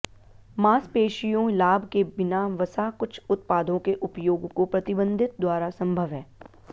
मांसपेशियों लाभ के बिना वसा कुछ उत्पादों के उपयोग को प्रतिबंधित द्वारा संभव है